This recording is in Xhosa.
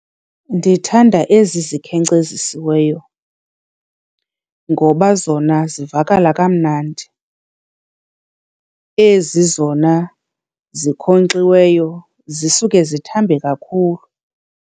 Ndithanda ezi zikhenkcezisiweyo ngoba zona zivakala kamnandi. Ezi zona zinkonkxiweyo zisuke zithambe kakhulu.